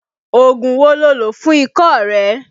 Ògùn wo lo lò fún ikọ́ rẹ?